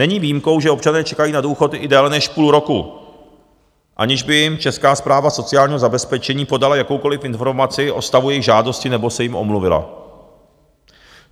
Není výjimkou, že občané čekají na důchod i déle než půl roku, aniž by jim Česká správa sociálního zabezpečení podala jakoukoliv informaci o stavu jejich žádosti nebo se jim omluvila.